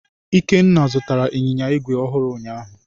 Ikenna zụtara Ịnyịnya igwe ọhụrụ ụnyaahụ.